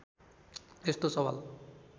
यस्तो सवाल